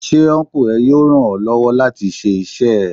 Ṣé Ọnkú ẹ yóò ràn ọ́ lọ́wọ́ láti ṣe iṣẹ́ ẹ?